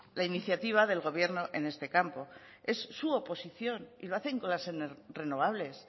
la iniciativa del gobierno en este campo es su oposición y lo hacen con las renovables